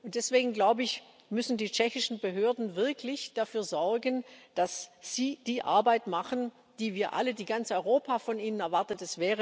Deswegen müssen die tschechischen Behörden wirklich dafür sorgen, dass sie die Arbeit machen, die wir alle, die ganz Europa von ihnen erwartet.